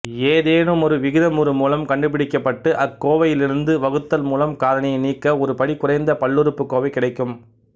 ஏதெனுமொரு விகிதமுறு மூலம் கண்டுபிடிக்கப்பட்டு அக்கோவையிலிருந்து வகுத்தல் மூலம் காரணியை நீக்க ஒரு படி குறைந்த பல்லுறுப்புக்கோவை கிடைக்கும்